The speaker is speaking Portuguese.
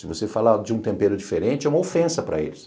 Se você falar de um tempero diferente, é uma ofensa para eles.